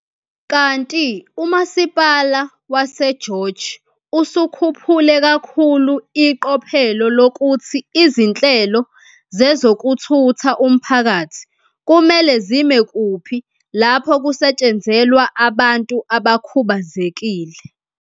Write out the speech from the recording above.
Kanti uMasipala waseGeorge usukhuphule kakhulu iqophelo lokuthi izinhlelo zezokuthutha umphakathi kumele zime kuphi lapho kusetshenzelwa abantu abakhubazekile.